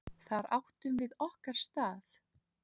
Þar áttum við okkar stað.